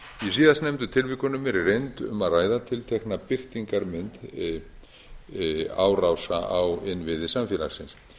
síðastnefndu tilvikunum er í reynd um að ræða tiltekna birtingarmynd árása á innviði samfélagsins